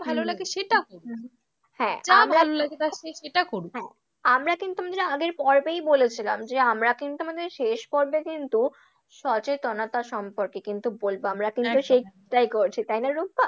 ভালো লাগে সেটা করুক হ্যাঁ, যা ভালো লাগে তার সেটা করুক, হ্যাঁ আমরা কিন্তু আমাদের আগের পর্বেই বলেছিলাম যে আমরা কিন্তু আমাদের শেষ পর্বটা কিন্তু সচেতনতা সম্পর্কে কিন্তু বলবো, আমরা কিন্তু সেইটাই করছি, তাই না রুম্পা?